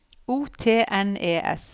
O T N E S